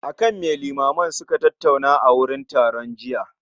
Akan me limamai suka tattauna a wurin taron jiya?